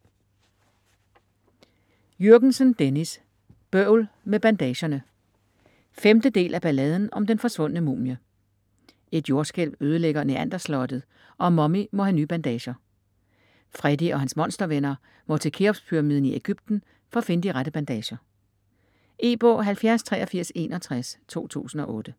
Jürgensen, Dennis: Bøvl med bandagerne 5. del af Balladen om den forsvundne mumie. Et jordskælv ødelægger Neanderslottet, og Mummy må have nye bandager. Freddy og hans monstervenner må til Cheopspyramiden i Egypten for at finde de rette bandager. E-bog 708361 2008.